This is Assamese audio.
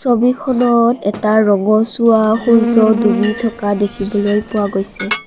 ছবিখনত এটা ৰঙচুৱা সূৰ্য্য ডুবি থকা দেখিবলৈ পোৱা গৈছে।